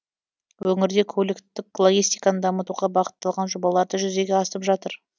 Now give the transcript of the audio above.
өңірде көліктік логистиканы дамытуға бағытталған жобалар да жүзеге асып жатыр